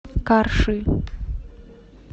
карши